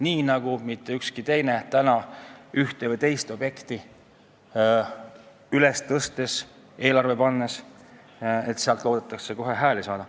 Nii ei looda ehk ka ükski teine inimene ühte või teist objekti eelarvesse pannes kohe hääli juurde saada.